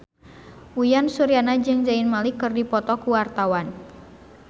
Uyan Suryana jeung Zayn Malik keur dipoto ku wartawan